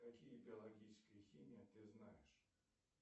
какие биологическая химия ты знаешь